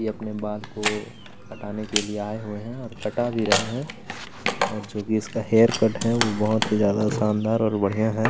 ये अपने बाल को कटाने के लिए आए हुए हैं और कटा भी रहे हैं और जो भी इसका हेयरकट है वो बहुत ही ज्यादा शानदार और बढ़िया है।